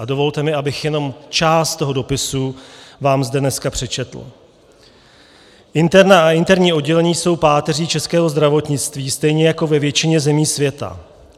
A dovolte mi, abych jenom část toho dopisu vám zde dneska přečetl: Interna a interní oddělení jsou páteří českého zdravotnictví stejně jako ve většině zemí světa.